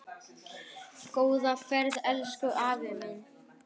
Góða ferð, elsku afi minn.